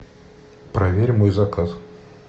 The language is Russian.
проверь мой заказ